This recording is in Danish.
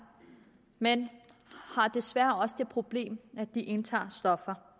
men desværre også har det problem at de indtager stoffer